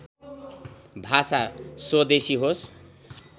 भाषा स्वदेशी होस्